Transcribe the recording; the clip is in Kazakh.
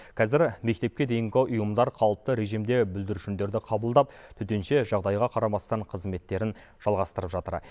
қазір мектепке дейінгі ұйымдар қалыпты режимде бүлдіршіндерді қабылдап төтенше жағдайға қарамастан қызметтерін жалғастырып жатыр